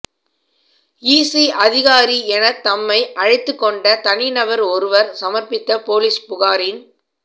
EC அதிகாரி எனத் தம்மை அழைத்துக் கொண்ட தனிநபர் ஒருவர் சமர்பித்த போலீஸ் புகாரின்